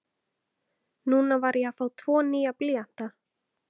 Núna var ég að fá tvo nýja blýanta.